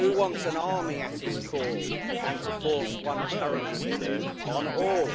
Who wants an army at his call and to force one currency on all?